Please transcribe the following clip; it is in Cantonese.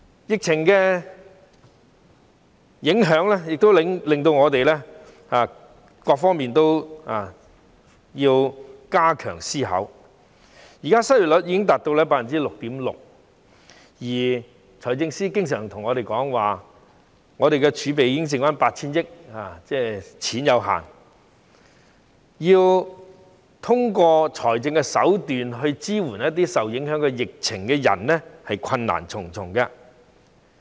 疫情的影響亦都令我們要就各方面加強思考，現時失業率已高達 6.6%， 而財政司司長經常說，財政儲備只餘下 8,000 億元，即儲備有限，要通過財政手段以支援一些受疫情影響的人，是困難重重的。